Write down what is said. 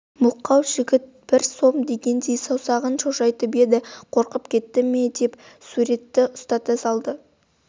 мылқау жігіт бір сом дегендей саусағын шошайтып еді қорқып кетті ме деп суретті ұстата салды